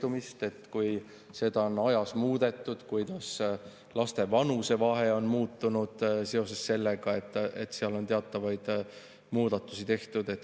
Räägiti sellest, et kui seda on aja jooksul muudetud, kuidas siis laste vanusevahe on muutunud seoses sellega, et seal on teatavaid muudatusi tehtud.